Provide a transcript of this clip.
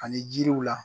Ani jiriw la